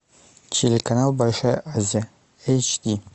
телеканал большая азия эйч ди